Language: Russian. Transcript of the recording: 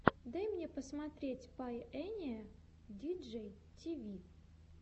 дай мне посмотреть пайэниэ диджей тиви